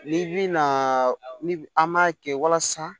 N'i bi na ni an m'a kɛ walasa